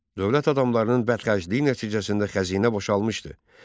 Dövlət adamlarının bədxərcliyi nəticəsində xəzinə boşalmışdı.